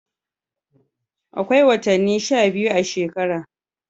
Akwai wotani sha biyu a shekara.